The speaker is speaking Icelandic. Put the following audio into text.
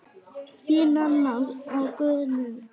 Þín, Nanna Guðný.